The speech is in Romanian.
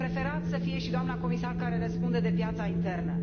Aș fi preferat să fie și doamna comisar care răspunde de piața internă.